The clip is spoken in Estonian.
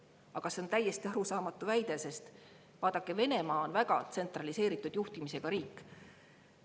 Aga see on täiesti arusaamatu väide, sest vaadake, Venemaa on väga tsentraliseeritud juhtimisega riik.